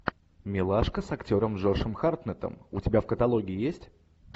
милашка с актером джошем хартнеттом у тебя в каталоге есть